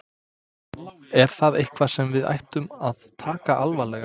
Er það eitthvað sem við ættum að taka alvarlega?